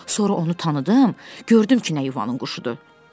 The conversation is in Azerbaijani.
Sonra onu tanıdım, gördüm ki, nə yuvanın quşudur.